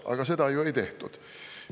Aga seda ju ei tehtud.